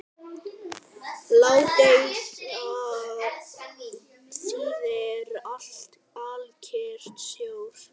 Ládeyða þýðir alkyrr sjór.